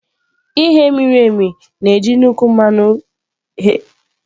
Ighe miri emi na-eji nnukwu mmanụ fry.